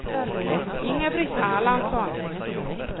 Inga-Britt Erlandsson